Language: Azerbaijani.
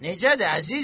Necədir, əzizim?